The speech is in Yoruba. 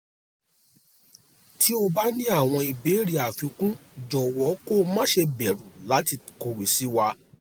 tí o bá ní àwọn ìbéèrè àfikún jọ̀wọ́ kó má ṣe bẹ̀rù láti kọ̀wé sí wa